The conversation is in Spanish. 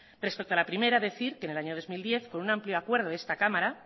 respecto a la primera decir que en el año dos mil diez con un amplio acuerdo de esta cámara